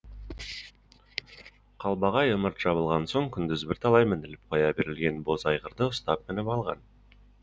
қалбағай ымырт жабылған соң күндіз бірталай мініліп қоя берілген боз айғырды ұстап мініп алған